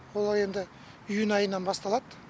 ол енді июнь айынан басталады